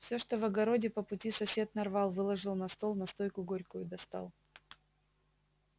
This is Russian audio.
все что в огороде по пути сосед нарвал выложил на стол настойку горькую достал